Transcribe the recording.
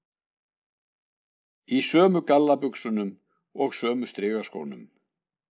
Í sömu gallabuxunum og sömu strigaskónum.